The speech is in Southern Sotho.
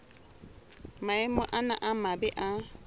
maemo ana a mabe a